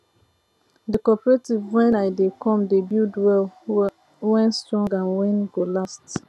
the cooperative wen i dey come dey build well wen strong and wen go last